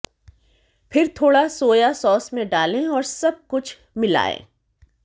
फिर थोड़ा soya sauce में डालें और सब कुछ मिलाएं